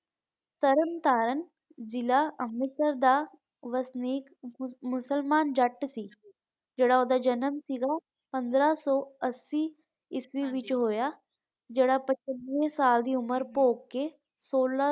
ਤਾਰਨ ਤਾਰਨ ਜ਼ਿੱਲਾ ਅੰਮ੍ਰਿਤਸਰ ਦਾ ਵਸਨੀਕ ਮੁਸਲਮਾਨ ਜੱਟ ਸੀ ਜਿਹੜਾ ਓਹਦਾ ਜਨਮ ਸੀਗਾ ਪੰਦਰਾਂ ਸੋ ਅੱਸੀ ਈਸਵੀ ਵਿਚ ਹੋਇਆ ਜਿਹੜਾ ਸਾਲ ਦੀ ਉਮਰ ਭੋਗ ਕੇ ਸੋਲਾਂ।